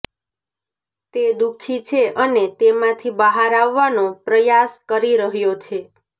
તે દુઃખી છે અને તેમાંથી બહાર આવવાનો પ્રયાસ કરી રહ્યો છે